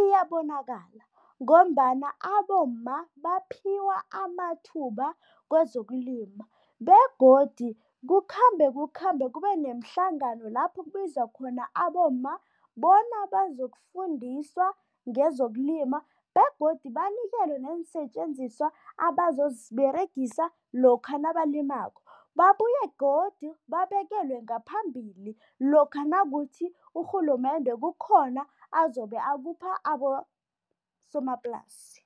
iyabonakala ngombana abomma baphiwa amathuba kwezokulima begodu kukhambe kukhambe kube nemihlangano lapho kubizwa khona abomma bona bazokufundiswa ngezokulima begodu banikelwe neensetjenziswa abazoziberegisa lokha nabalimako, babuye godu babekelwe ngaphambili lokha nakuthi urhulumende kukhona azobe akupha abosomaplasi.